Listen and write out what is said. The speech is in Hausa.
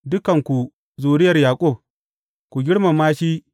Dukanku zuriyar Yaƙub, ku girmama shi!